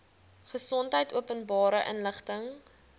gesondheid openbare inligting